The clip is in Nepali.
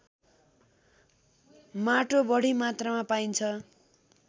माटो बढी मात्रामा पाइन्छ